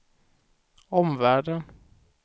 omvärlden